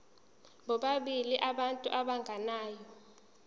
bobabili abantu abagananayo